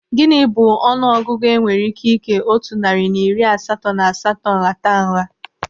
Gịnị bụ ọnụ ọgụgụ enwere ike ikee otu narị na iri asatọ na asatọ nhata nha?